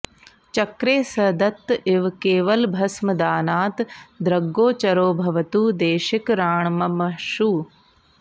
चक्रे स दत्त इव केवलभस्मदानात् दृग्गोचरो भवतु देशिकराण्ममाशु